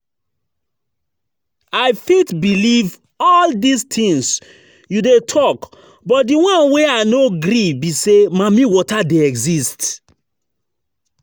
I fit believe all dis things you dey talk but the one wey I no gree be say mammy water dey exist